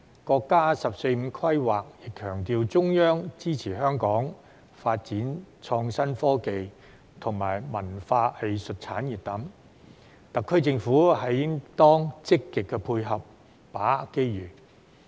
國家的"十四五"規劃亦強調中央支持香港發展創新科技及文化藝術產業等，特區政府應當積極配合，把握機遇。